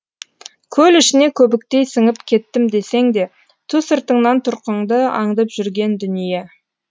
көл ішіне көбіктей сіңіп кеттім десең де ту сыртыңнан тұрқыңды аңдып жүрген дүние